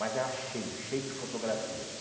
Mas era cheio, cheio de fotografias.